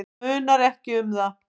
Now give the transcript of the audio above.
Það munar ekki um það.